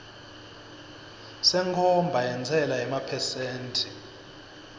senkhomba yentsela yemaphesenthi